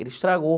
Ele estragou.